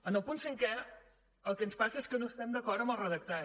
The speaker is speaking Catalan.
en el punt cinquè el que ens passa és que no estem d’acord amb el redactat